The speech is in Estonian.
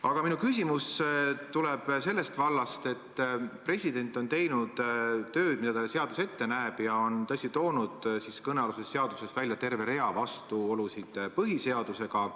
Aga minu küsimus tuleb sellest vallast, et president on teinud tööd, nii nagu seadus ette näeb, ja toonud kõnealuses seaduses välja terve rea vastuolusid põhiseadusega.